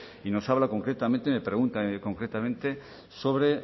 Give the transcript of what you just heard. y nos habla concretamente me pregunta concretamente sobre